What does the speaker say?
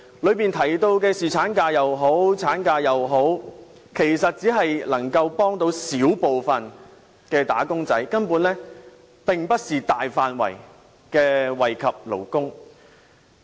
當中提到的侍產假或產假，其實只能幫到小部分"打工仔"，根本並不是大範圍惠及勞工。